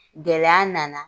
Gɛlɛya na na.